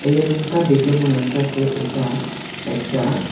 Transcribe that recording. এই রুমতা দেকে মনে হইতাসে এইতা একটা--